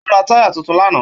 Ó ra táyà tuntun lánàá.